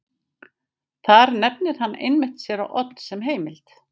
Þar nefnir hann einmitt séra Odd sem heimild.